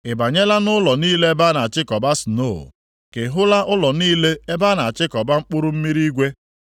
“Ị banyela nʼụlọ niile ebe a na-achịkọba snoo, ka ị hụla ụlọ niile ebe a na-achịkọba mkpụrụ mmiri igwe,